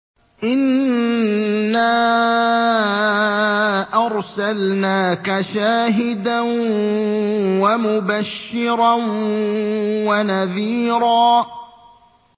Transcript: إِنَّا أَرْسَلْنَاكَ شَاهِدًا وَمُبَشِّرًا وَنَذِيرًا